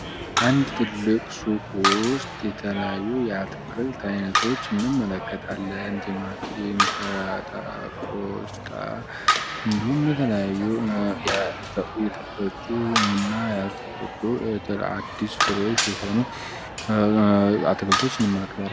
አንድ ትልቅ ሱቅ ውስጥ የተለዩ የአትክልት ዓይነቶች እንመለከታለን። ቲማቲም ሰላጣ ቆስጣ እንድሁም የተለያዩ የተፈጩ እና ያልተፈጩ አዲስ ፍሬሽ የሆኑ አትክልቶች እንመለከታል።